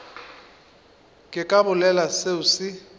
ke ka bolela seo se